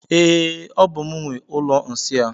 E, ọ bú m nwe ụlọ nsị a.